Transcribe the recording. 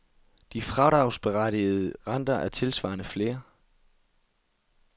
De fradragsberettigede renter er tilsvarende flere.